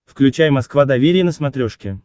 включай москва доверие на смотрешке